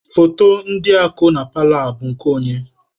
Foto ndị a ko na paalọ a, bụ nke onye?